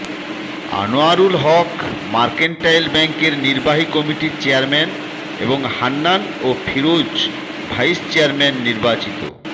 Anwarul Haque mercantile ব্যাংকের নির্বাহী কমিটির চেয়ারম্যান এবং হান্নান ও ফিরোজ ভাইস চেয়ারম্যান নির্বাচিত